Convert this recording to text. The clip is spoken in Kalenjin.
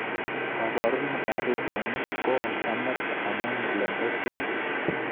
Kabarunet ab pichainik, ko oon Amerika amu plembechuat